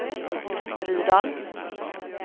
Rydal